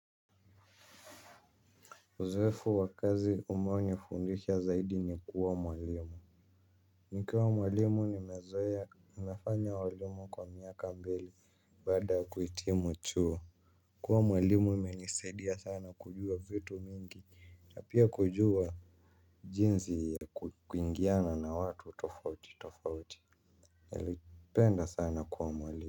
Uzoefu wa kazi umeo nifundisha zaidi ni kuwa mwalimu nikiwa mwalimu ni mezoea nafanya uwalimu kwa miaka mbili baada kuhitimu chuo. Kuwa mwalimu ime nisaidia sana kujua vitu mingi na pia kujua jinsi ya kuingiana na watu tofauti tofauti. Nilipenda sana kuwa mwalimu.